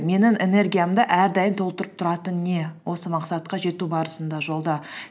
менің энергиямды әрдайым толтырып тұратын не осы мақсатқа жету барысында жолда